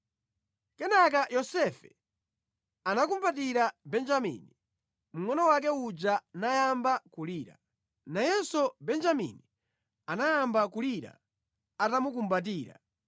Kenaka Yosefe anakhumbatira Benjamini, mngʼono wake uja nayamba kulira. Nayenso Benjamini anayamba kulira atamukumbatira.